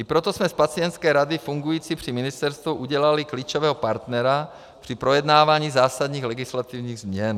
I proto jsme z pacientské rady fungující při ministerstvu udělali klíčového partnera při projednávání zásadních legislativních změn.